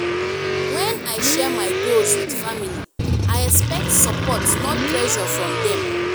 when i share my goals with family i expect support not pressure from them.